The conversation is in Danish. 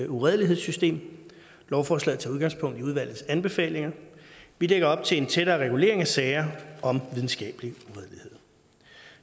uredelighedssystem lovforslaget tager udgangspunkt i udvalgets anbefalinger vi lægger op til en tættere regulering af sager om videnskabelig uredelighed